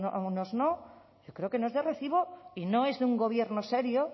a unos no yo creo que no es de recibo y no es de un gobierno serio